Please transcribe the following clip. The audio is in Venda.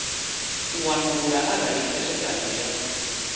u wanulula arali khethekanyo ya